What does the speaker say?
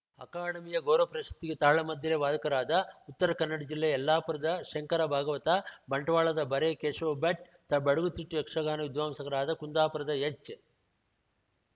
ಅಕಾಡೆಮಿಯ ಗೌರವ ಪ್ರಶಸ್ತಿಗೆ ತಾಳಮದ್ದಲೆ ವಾದಕರಾದ ಉತ್ತರ ಕನ್ನಡ ಜಿಲ್ಲೆಯ ಯಲ್ಲಾಪುರದ ಶಂಕರ ಭಾಗವತ ಬಂಟ್ವಾಳದ ಬರೆ ಕೇಶವ ಭಟ್‌ ತ ಬಡಗುತಿಟ್ಟು ಯಕ್ಷಗಾನ ವಿದ್ವಾಂಸಕರಾದ ಕುಂದಾಪುರದ ಎಚ್‌